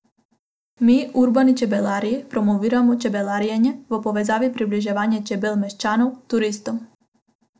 Mi, urbani čebelarji, promoviramo čebelarjenje v povezavi približevanja čebel meščanov, turistom.